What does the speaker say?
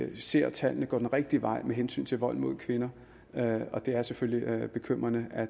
vi ser at tallene går den rigtige vej med hensyn til vold mod kvinder og det er selvfølgelig bekymrende at